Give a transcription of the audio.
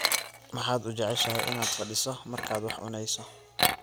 maxaad u jeceshahay inaad fadhiiso markaad wax cunayso?